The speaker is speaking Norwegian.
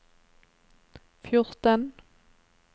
fjorten